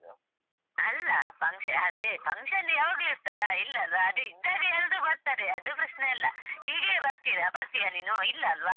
ಅಲ್ಲ ಅದೇ function ಯಾವಾಗ್ಲೂ ಇರ್ತದಾ ಇಲ್ಲಲ್ವಾ ಅದೇ ಇದ್ದಾಗ ಎಲ್ರು ಬರ್ತಾರೆ ಅದು ಪ್ರೆಶ್ನೆ ಅಲ್ಲ ಹೀಗೆಯೇ ಬರ್ತೀರಾ ಬರ್ತೀಯ ನೀನು ಇಲ್ಲ ಅಲ್ವಾ.